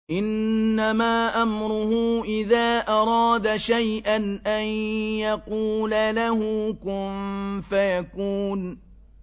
إِنَّمَا أَمْرُهُ إِذَا أَرَادَ شَيْئًا أَن يَقُولَ لَهُ كُن فَيَكُونُ